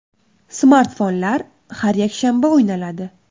Smartfonlar har yakshanba o‘ynaladi.